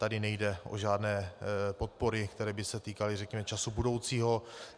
Tady nejde o žádné podpory, které by se týkaly, řekněme, času budoucího.